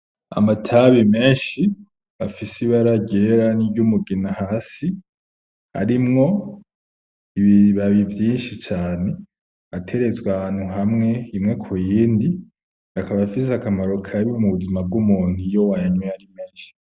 Amatabi menshi afise ibara ryera n’iryumugina hasi, arimwo ibibabi vyinshi cane, ateretswe ahantu hamwe imwe ku yindi, akaba afise akamaro kabi mu buzima bw’umuntu iyo wayanyoye ari menshi.